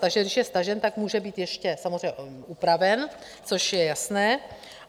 Takže když je stažen, tak může být ještě samozřejmě upraven, což je jasné.